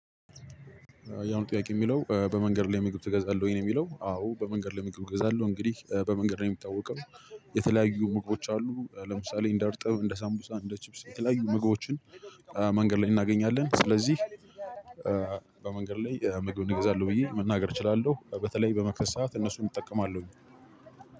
ያው ጥያቄው የሚለው በመንገድ ላይ ምግብ ትገዛለህ ወይ ነው? የሚለው አዎ በመንገድ ላይ መግብ እገዛለው እንግዲህ በመንገድ ነው የሚታወቀው። የተለያዩ ምግቦች አሉ ለምሳሌ እንደ እርጥብ እንደ ሳምቡሳ እንደ ቺፕስ የተለያዩ ምግቦችን። መንገድ ላይ እናገኛለን ስለዚህ በመንገድ ላይ ምግብ እገዛለሁ ብዬ መናገር እችላለሁ። በተለይ በመክሰስ ሰዓት እነሱን እጠቀማለሁ።